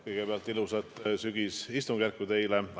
Kõigepealt ilusat sügisistungjärku teile!